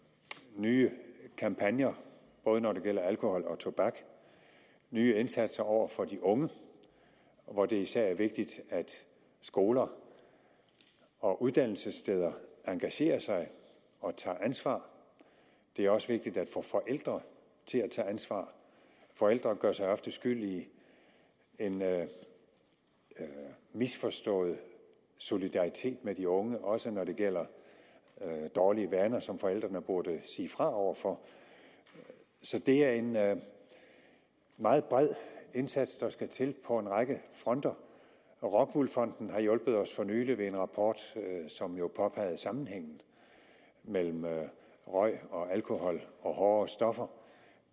nye kampagner både når det gælder alkohol og tobak nye indsatser over for de unge hvor det især er vigtigt at skoler og uddannelsessteder engagerer sig og tager ansvar det er også vigtigt at få forældre til at tage ansvar forældre gør så ofte skyldige i en misforstået solidaritet med de unge også når det gælder dårlige vaner som forældrene burde sige fra over for så det er en meget bred indsats der skal til på en række fronter rockwool fonden har hjulpet os for nylig med en rapport som jo påpegede sammenhængen mellem røg og alkohol og hårdere stoffer